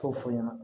K'o fɔ ɲɛna